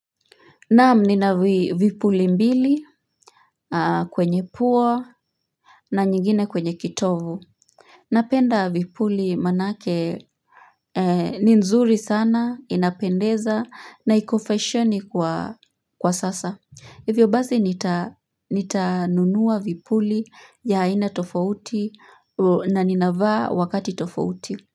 Naam nina vipuli mbili kwenye pua na nyingine kwenye kitovu. Napenda vipuli manake ni nzuri sana, inapendeza na iko fashoni kwa sasa. Hivyo basi nita nunua vipuli ya aina tofauti na ninavaa wakati tofauti.